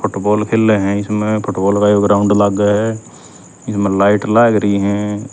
फुटबोल खेलंहं इसम्ह फुटबोल का यो ग्राउन्ड लाग्ह ह इसम्ह लाइट लाग री हं।